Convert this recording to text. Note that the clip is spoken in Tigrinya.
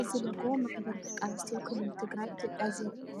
እዚ ሎጎ ማሕበር ደቂ ኣንስትዮ ክልል ትግራይ ኢትዮጵያ ዘርኢ እዩ።